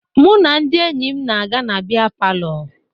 Mụ na ndị enyi m na-aga na bịa palọ